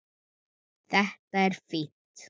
Þetta er fínt.